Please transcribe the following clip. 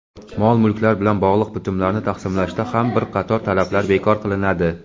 mol-mulklar bilan bog‘liq bitimlarni tasdiqlashda ham bir qator talablar bekor qilinadi.